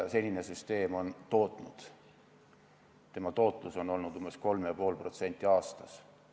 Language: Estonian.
Senise süsteemi tootlus on olnud umbes 3,5% aastas.